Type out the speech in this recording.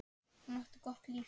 Hún átti gott líf.